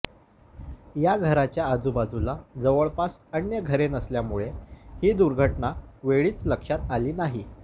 या घराच्या आजूबाजूला जवळपास अन्य घरे नसल्यामुळे ही दुर्घटना वेळीच लक्षात आली नाही